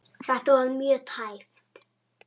Þetta var mjög tæpt.